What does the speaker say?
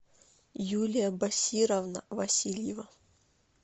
юлия басировна васильевна